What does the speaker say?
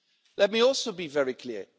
Let me also be very clear.